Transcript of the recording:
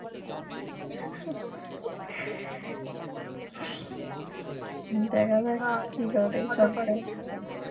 দেখা যাক কি করে